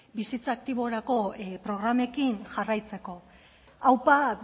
bizitza aktiborako programekin jarraitzeko aupa